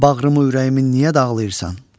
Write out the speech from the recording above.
Bağrımı, ürəyimi niyə dağlayırsan?